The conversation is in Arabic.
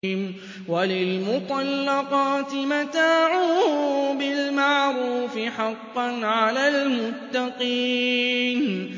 وَلِلْمُطَلَّقَاتِ مَتَاعٌ بِالْمَعْرُوفِ ۖ حَقًّا عَلَى الْمُتَّقِينَ